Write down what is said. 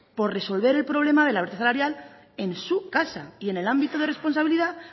por resolver el problema de la brecha salarial en su casa y en el ámbito de responsabilidad